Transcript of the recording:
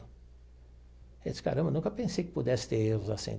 Ele disse, caramba, eu nunca pensei que pudesse ter erros assim.